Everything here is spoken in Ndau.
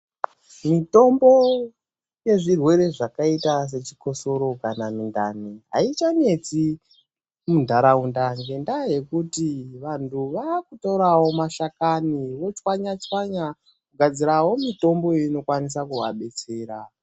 Mitombo yezvirwere zvakaita sechikosoro kana mundani haichanetsi mundaraunda ngendaa yekuti vantu vakutoravo mashakani votswanya-tswanya kugadzirawo mitombo inokwanisa kuvabetsera.